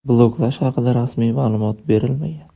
Bloklash haqida rasmiy ma’lumot berilmagan.